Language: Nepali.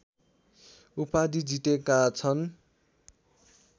उपाधि जितेका छन्